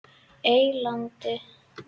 Eylandi